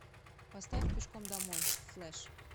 поставь пешком домой флэш